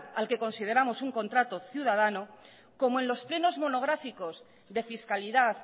al que consideramos un contrato ciudadano como en los plenos monográficos de fiscalidad